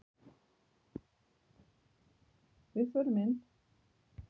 Við förum inn!